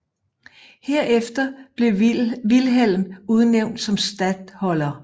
Herefter blev Vilhelm udnævnt som statholder